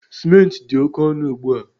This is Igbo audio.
Ciment dị oke ọnụ ugbu a